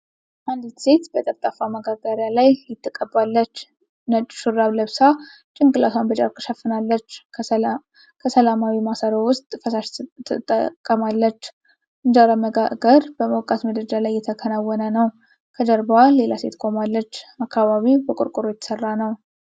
አንዲት ሴት በጠፍጣፋ መጋገሪያ ላይ ሊጥ ትቀባለች። ነጭ ሹራብ ለብሳ፣ ጭንቅላቷን በጨርቅ ሸፍናለች። ከሰላማዊ ማሰሮ ውስጥ ፈሳሽ ትጠቀማለች። እንጀራ መጋገር በሞቃት ምድጃ ላይ እየተከናወነ ነው። ከጀርባዋ ሌላ ሴት ቆማለች። አካባቢው በቆርቆሮ የተሰራ ነው።